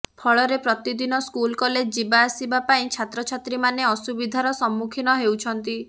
ଫଳରେ ପ୍ରତିଦିନ school college ଯିବା ଆସିବା ପାଇଁ ଛାତ୍ରଛାଚ୍ରୀମାନେ ଅସୁବିଧାର ସମ୍ମୁଖୀନ ହେଉଛନ୍ତି